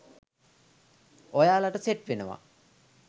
ඔයාලට සෙට් වෙනවා.